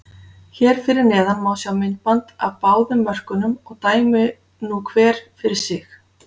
Hér fyrir neðan má sjá myndband af báðum mörkunum og dæmi nú hver fyrir sig.